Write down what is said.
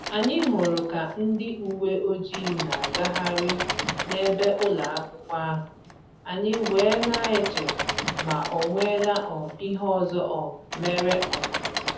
Anyị hụrụ ka ndị uwe ojii na-agagharị n'ebe ụlọakwụkwọ ahụ, anyị wee na-eche ma onwela um ihe ọzọ um mere um